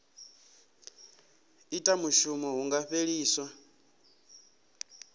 ita mushumo hu nga fheliswa